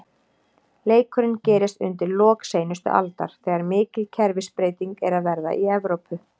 Leikurinn gerist undir lok seinustu aldar, þegar mikil kerfisbreyting er að verða í Evrópu.